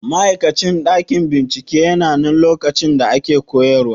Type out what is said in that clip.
Ma'aikacin ɗakin binciken yananan lokacin da ake koyarwa?